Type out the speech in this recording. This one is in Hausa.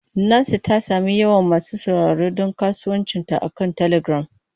Nancy ta sami yawan masu sauraro don kasuwancinta akan telegram.